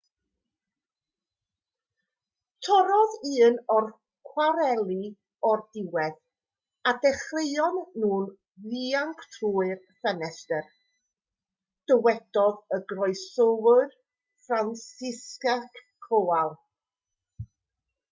torrodd un o'r cwareli o'r diwedd a dechreuon nhw ddianc trwy'r ffenestr dywedodd y goroeswr franciszek kowal